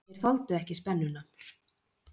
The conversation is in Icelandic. Þeir þoldu ekki spennuna.